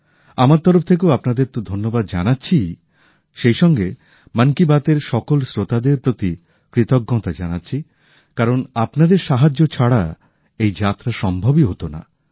আমার তরফ থেকেও আপনাদের তো ধন্যবাদ জানাচ্ছিই সেইসঙ্গে মন কি বাত এর সকল শ্রোতাদের প্রতি কৃতজ্ঞতা জানাচ্ছি কারণ আপনাদের সাহায্য ছাড়া এই যাত্রা সম্ভবই হত না